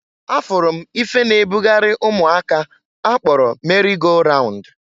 A furu m ife na-e bugarị ụmụaka a kpọrọ meri go raund.